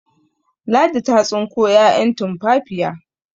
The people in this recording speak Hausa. Ladi ta tsinko 'ya'yan tumfafiya